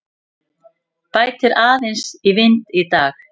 Bætir aðeins í vind í dag